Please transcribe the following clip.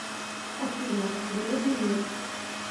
афина железный мир